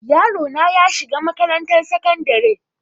yarona yashiga makarantan sakandare